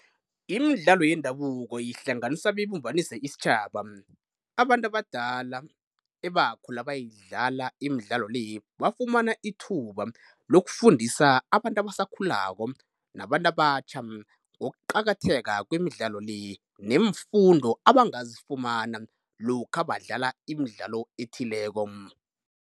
Imidlalo yendabuko ihlanganisa beyibumbanise isitjhaba. Abantu abadala ebakhula bayidlala imidlalo le bafumana ithuba lokufundisa abantu abasakhulako nabantu abatjha ngokuqakatheka kwemidlalo le, neemfundo abangazifumana lokha badlala imidlalo ethileko.